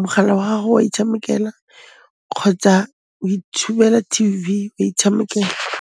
mogala wa gago wa itshamekela kgotsa o itshubela T_V, wa itshamekela.